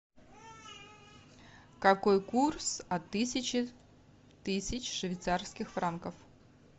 какой курс от тысячи тысяч швейцарских франков